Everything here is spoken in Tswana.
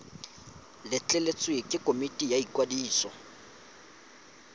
letleletswe ke komiti ya ikwadiso